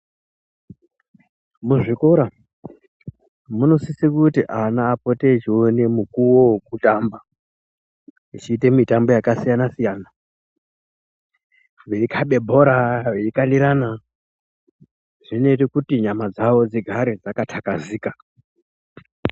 Muzvikora munosise kuti ana apote echioma mukuwo wekutamba achiite mitambo yaka siyana siyana veikabe bhora veikandirana zvinoite kuti nyama dzavo dzigare dzaka takazika.